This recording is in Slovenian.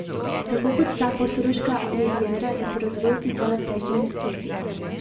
Tako kot vsa portoroška riviera je po razvoju obtičala v prejšnjem desetletju.